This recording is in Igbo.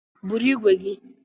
Bụrụ ìgwè gi!